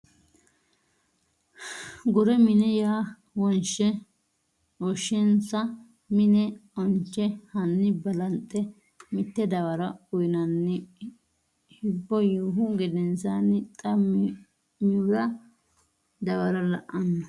gure mine ya wonshe insa mine onche Hanni balanxe mitte dawaro uynanni hibbo yiihu gedensaanni xa mihura dawaro la no !